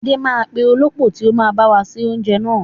Adé máa pè olópò tíì ó máa báwa ṣe oúnjẹ náà